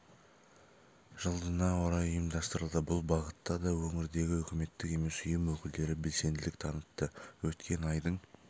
жылдына орай ұйымдастырылды бұл бағытта да өңірдегі үкіметтік емес ұйым өкілдері белсенділік танытты өткен айдың